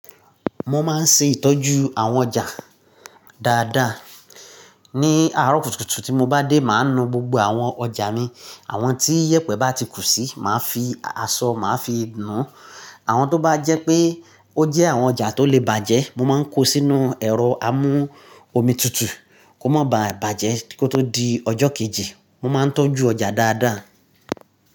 Mo máa ń ṣe ìtọ́jú àwọn ọjà dáadáa. Ni àárọ̀ kùtùkùtù tí mo bá dé, màá nu gbogbo àwọn ọjà mi. Àwọn tí yèpẹ̀ bá ti kú si, màá fi aṣọ, màá fi nù án. Àwọn tó bá jẹ́ pé ó jẹ́ àwọn ọjà tó lè bàjẹ́, mo máa ń kó sínú ẹ̀rọ amú omi tutù kó má bà bàjẹ́ kó tó di ọjọ́ kejì. Mo máa ń tọ́jú ọjà dáadáa.